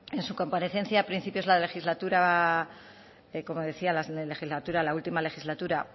en su comparecencia a principios de la legislatura como decía la última legislatura